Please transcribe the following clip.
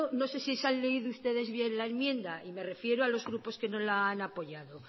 no sé si se han leído ustedes bien la enmienda me refiero a los grupos que no la han apoyado